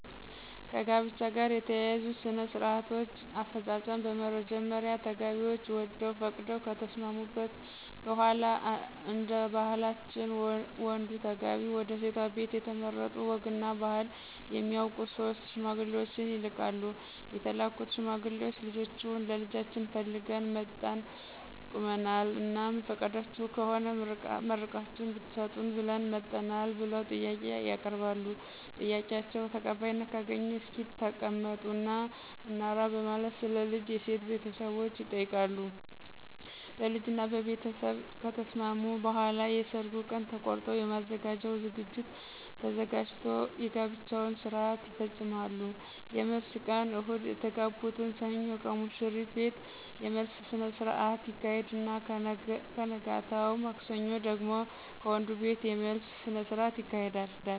ከጋብቻ ጋር የተያያዙ ሥነ -ስርአቶች አፈጻጸም በመጀመሪያ ተጋቢዎች ወደው ፈቅደው ከተስማሙ በሗላ እደባህላችን ወንዱ ተጋቢ ወደሴቷ ቤት የተመረጡ ወግ እና ባህል የሚያውቁ 3 ሽማግሌዎችን ይልካሉ የተላኩት ሽማግሌዎች ልጃችሁን ለልጃችን ፈልገን መጠን ቁመናል? እናም ፍቃዳችሁ ከሆነ መርቃችሁ እድትሰጡን ብለን መጠናል ብለው ጥያቄ ያቀርባሉ? ጥያቄአቸው ተቀባይነት ካገኘ እስኪ ተቀመጡ እና እናውራ በማለት ስለ ልጅ የሴት ቤተሰቦች ይጠይቃሉ ? በልጅ እና በቤተስብ ከተስማሙ በኃላ የሰርጉ ቀን ተቆርጦ የሚዘጋጀው ዝግጅት ተዘጋጅቶ የጋብቻቸውን ስርአት ይፈጾማሉ። የመልስ ቀን እሁድ የተጋቡትን ሰኞ ከሙሽሪት ቤት የመልስ ስነስረአት ይካሄድና በነገታው ማክሰኞ ደግሞ ከወንዱቤት የመልስ ስነስርአት ይካሄዳል።